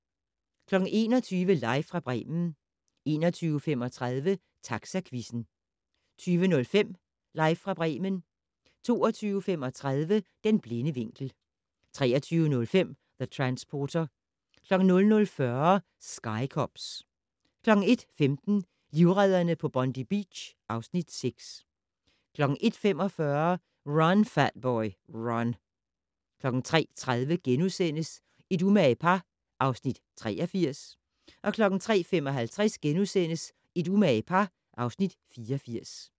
21:00: Live fra Bremen 21:35: Taxaquizzen 22:05: Live fra Bremen 22:35: Den blinde vinkel 23:05: The Transporter 00:40: Sky Cops 01:15: Livredderne på Bondi Beach (Afs. 6) 01:45: Run, Fat Boy, Run 03:30: Et umage par (Afs. 83)* 03:55: Et umage par (Afs. 84)*